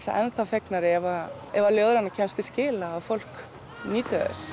enn þá fegnari ef ef að ljóðrænan kemst til skila og fólk nýtur þess